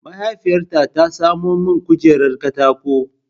Mahaifiyata ta samo min kujerar katako.